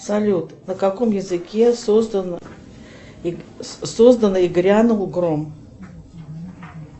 салют на каком языке создан и грянул гром